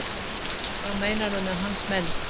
Hvað meinarðu með hans menn?